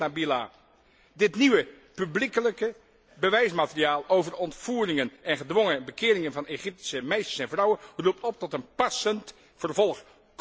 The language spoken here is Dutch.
bezweert Nabila. Dit nieuwe publiekelijke bewijsmateriaal over de ontvoeringen en gedwongen bekeringen van Egyptische meisjes en vrouwen roept op tot een passend vervolg.